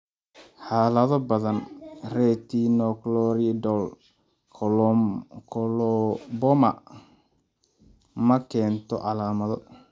Xaalado badan, retinochoroidal coloboma ma keento calaamado.